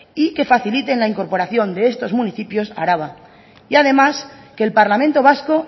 y que faciliten la incorporación de estos municipios a araba y además que el parlamento vasco